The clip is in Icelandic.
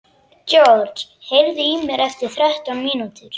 George, heyrðu í mér eftir þrettán mínútur.